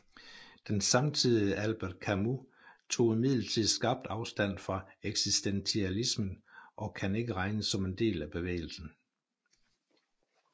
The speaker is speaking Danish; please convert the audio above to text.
Den samtidige Albert Camus tog imidlertid skarpt afstand fra eksistentialismen og kan ikke regnes som en del af bevægelsen